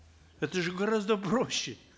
это же гораздо проще